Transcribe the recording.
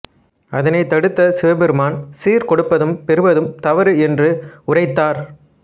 அதனை தடுத்த சிவபெருமான் சீர் கொடுப்பதும் பெறுவதும் தவறு என்று உரைத்தார்